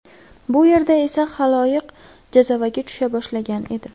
Bu yerda esa xaloyiq jazavaga tusha boshlagan edi.